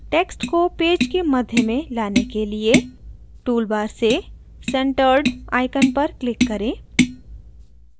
text को पेज के मध्य में लाने के लिए टूल बार से centered icon पर click करें